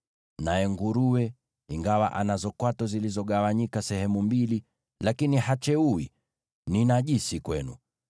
Naye nguruwe ingawa anazo kwato zilizogawanyika sehemu mbili, hacheui; huyo ni najisi kwenu.